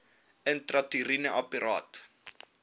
intrauteriene apparaat iua